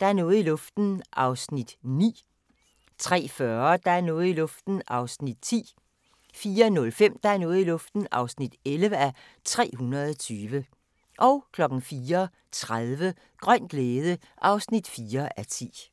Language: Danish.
Der er noget i luften (9:320) 03:40: Der er noget i luften (10:320) 04:05: Der er noget i luften (11:320) 04:30: Grøn glæde (4:10)